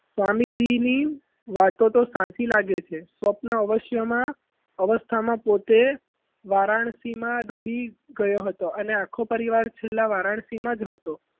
સ્વામીજી ની વાતો તો સાચી લાગે છે સ્વપ્ન અવસ્થામાં અવસ્થામાં પોતે વારાણસીમાં ડૂબી ગયો હતો અને આંખો પર ચાંદલો વારાણસીમાં જ હતો પરંતુ